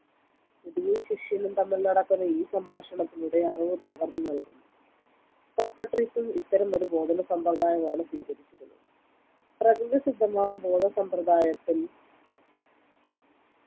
ഗുരുവും ശിഷ്യനും തമ്മിൽ നടക്കുന്ന ഈ സംഭാഷണത്തിലൂടെ അറിവ് പകർന്നുനൽകുന്നു സോക്രട്ടീസും ഇത്തരമൊരു ബോധന സമ്പ്രദായമാണ് സ്വീകരിച്ചിരുന്നത് പ്രകൃതിസിദ്ധമായ ബോധസമ്പ്രതായത്തിൽ